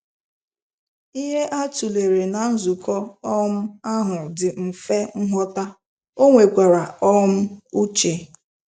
Ihe a tụlere ná nzukọ um ahụ dị mfe nghọta, ọ nwekwara um uche.